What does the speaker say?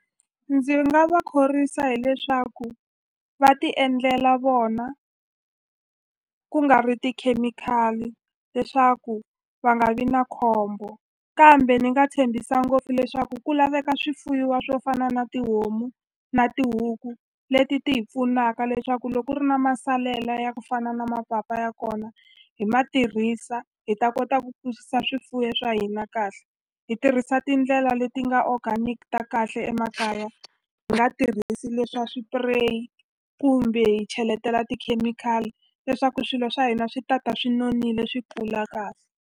Ndzi nga va khorwisa hileswaku va ti endlela vona ku nga ri tikhemikhali leswaku va nga vi na khombo kambe ni nga tshembisa ngopfu leswaku ku laveka swifuyiwa swo fana na tihomu na tihuku leti ti hi pfunaka leswaku loko ku ri na masalela ya ku fana na mapapa ya kona hi ma tirhisa hi ta kota ku kurisa swifuyo swa hina kahle hi tirhisa tindlela la leti nga organic ta kahle emakaya hi nga tirhisi leswa swipireyi kumbe hi cheletela tikhemikhali leswaku swilo swa hina swi ta ta swi nonile swi kula .